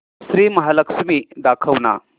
श्री महालक्ष्मी दाखव ना